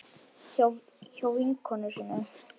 Hjá vinkonu sinni?